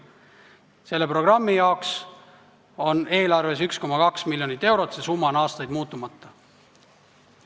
Selle programmi jaoks on eelarves 1,2 miljonit eurot ja see summa on aastaid muutumatu olnud.